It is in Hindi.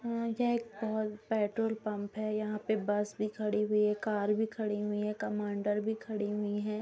हम्म यह एक पोल पेट्रोल पंप है यहां पे बस भी खड़ी हुई है कार भी खड़ी हुई है कमांडर भी खड़ी हुई हैं।